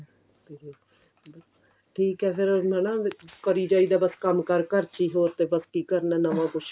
ਠੀਕ ਆ ਫੇਰ ਹਨਾ ਕਰੀ ਜਾਈਦਾ ਬੱਸ ਕੰਮ ਕਾਰ ਘਰ ਚ ਈ ਹੋਰ ਤਾਂ ਬੱਸ ਕੀ ਕਰਨਾ ਨਵਾਂ ਕੁੱਝ